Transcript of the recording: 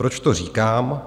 Proč to říkám?